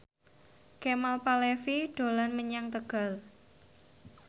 Kemal Palevi dolan menyang Tegal